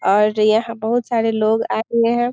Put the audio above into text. और यहाँ बहुत सारे लोग आए हुए हैं।